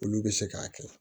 Olu bɛ se k'a kɛ